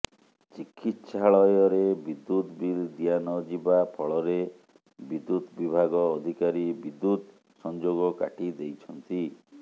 ଚିକିତ୍ସାଳୟରେ ବିଦ୍ୟୁତ୍ ବିଲ ଦିଆ ନ ଯିବା ଫଳରେ ବିଦ୍ୟୁତ ବିଭାଗ ଅଧିକାରୀ ବିଦ୍ୟୁତ ସଂଯୋଗ କାଟିଦେଇଛନ୍ତି